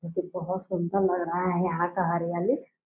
क्योंकि बहोत सुंदर लग रहा है यहाँ का हरियाली ।